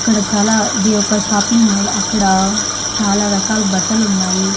ఇక్కడ చాలా ఇది ఒక షాపింగ్ మాల్ అక్కడ చాలా రకాల్ బట్టలున్నాయి.